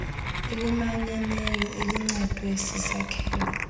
elimanyeneyo elincedwe sisakhelo